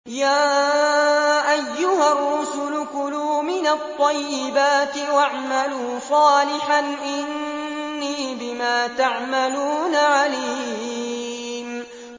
يَا أَيُّهَا الرُّسُلُ كُلُوا مِنَ الطَّيِّبَاتِ وَاعْمَلُوا صَالِحًا ۖ إِنِّي بِمَا تَعْمَلُونَ عَلِيمٌ